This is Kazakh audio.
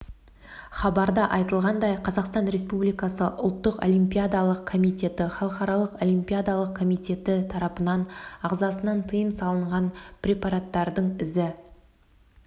хабарда айтылғандай қазақстан республикасы ұлттық олимпиадалық комитеті халықаралық олимпиадалық комитеті тарапынан ағзасынан тыйым салынған препараттардың ізі